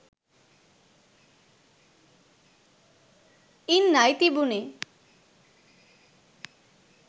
ඉන්නයි තිබුණේ.